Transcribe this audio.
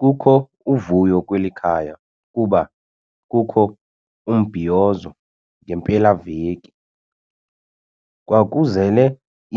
Kukho uvuyo kweli khaya kuba kukho umbhiyozo ngempelaveki. kwakuzele